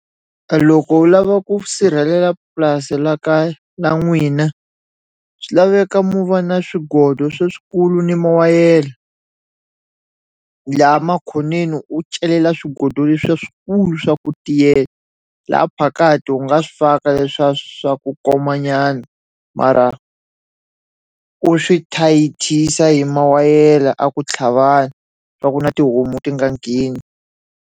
A loko u lava ku sirhelela purasi la ka la n'wina swi laveka mu va na swigodo swa swikulu ni mu wayele la makhoneni u celela swigodo leswiya swikulu swa ku laha phakati u nga swi faka leswa swa ku koma nyana mara u swi thayithisa hi mawayela a ku tlhavani swa ku na tihomu ti nga ngheni.